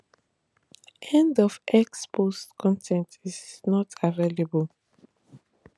end of x post con ten t is not available